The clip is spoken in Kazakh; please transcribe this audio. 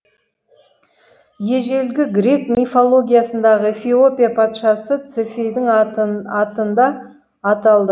ежелгі грек мифологиясындағы эфиопия патшасы цефейдің атында аталды